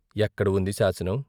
ఎక్కడ ఉంది శాసనం?